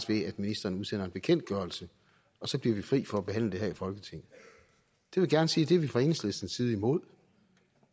ved at ministeren udsender en bekendtgørelse og så bliver vi fri for at behandle det her i folketinget jeg vil gerne sige at det er vi fra enhedslistens side imod